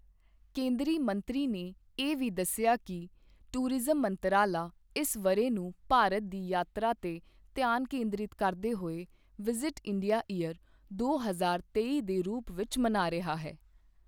ਕੇਂਦਰੀ ਮੰਤਰੀ ਨੇ ਇਹ ਵੀ ਦੱਸਿਆ ਕਿ ਟੂਰਿਜ਼ਮ ਮੰਤਰਾਲਾ ਇਸ ਵਰ੍ਹੇ ਨੂੰ ਭਾਰਤ ਦੀ ਯਾਤਰਾ ਤੇ ਧਿਆਨ ਕੇਂਦ੍ਰਿਤ ਕਰਦੇ ਹੋਏ ਵਿਜਿਟ ਇੰਡੀਆ ਇਯਰ ਦੋ ਹਜ਼ਾਰ ਤੇਈ ਦੇ ਰੂਪ ਵਿੱਚ ਮਨਾ ਰਿਹਾ ਹੈ।